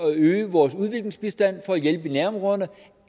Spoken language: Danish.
at øge vores udviklingsbistand for at hjælpe i nærområderne